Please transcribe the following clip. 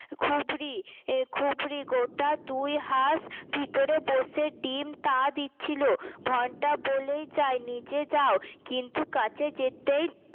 খুবরি খুবরি গোটা দুই হাস ভিতরে বসে ডিম তা দিচ্ছিল ঘন্টা বলেই যায় নিজে যাও কিন্তু কাছে যেতেই